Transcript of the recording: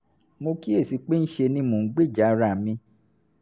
mo kíyè sí i pé ńṣe ni mò ń gbèjà ara mi